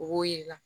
O b'o yir'i la